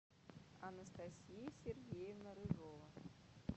анастасия сергеевна рыжова